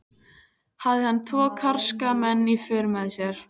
Hafði hann tvo karska menn í för með sér.